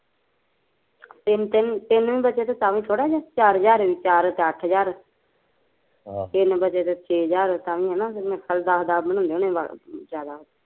ਤਿਨ ਤਿੰਨ ਹਜ਼ਾਰ ਵੀ ਬਚਿਆ ਤੇ ਥੋੜਾ ਈ, ਚਾਰ ਚਾਰ ਵੀ ਬਚਿਆ ਤੇ ਅੱਠ ਹਜ਼ਾਰ ਆਹ ਤਿੰਨ ਬਚੇ ਤੇ ਛੇ ਹਜ਼ਾਰ ਤਾਂਵੀ ਹੈਨਾ ਦਸ ਦੱਸ ਬਣਾਉਂਦੇ ਹੁਣੇ ਜਾਦਾ ਤੇ